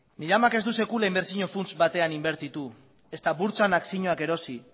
nire amak ez du sekula inbertsio funts batean inbertitu ezta burtsan akzioak erosi